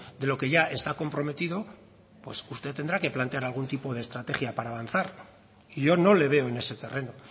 de lo que ya está comprometido pues usted tendrá que plantear algún tipo de estrategia para avanzar y yo no le veo en ese terreno